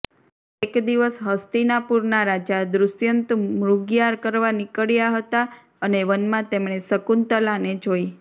એક દિવસ હસ્તિનાપુરના રાજા દુષ્યંત મૃગયા કરવા નીકળ્યા હતા અને વનમાં તેમણે શકુંતલાને જોઈ